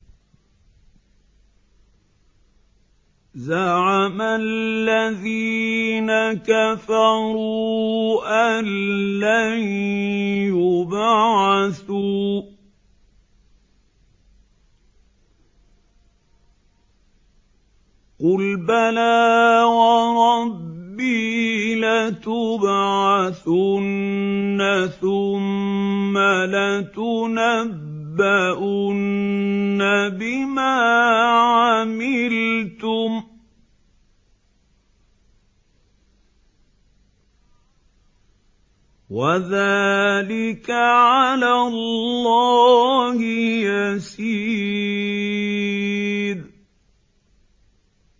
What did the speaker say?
زَعَمَ الَّذِينَ كَفَرُوا أَن لَّن يُبْعَثُوا ۚ قُلْ بَلَىٰ وَرَبِّي لَتُبْعَثُنَّ ثُمَّ لَتُنَبَّؤُنَّ بِمَا عَمِلْتُمْ ۚ وَذَٰلِكَ عَلَى اللَّهِ يَسِيرٌ